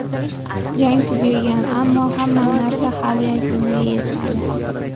Jang tugagan, ammo hamma narsa hali yakuniga yetmadi.